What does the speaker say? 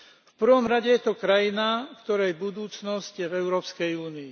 V prvom rade je to krajina, ktorej budúcnosť je v Európskej únii.